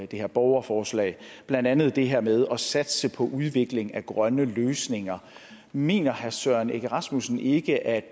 det borgerforslag blandt andet det her med at satse på udvikling af grønne løsninger mener herre søren egge rasmussen ikke at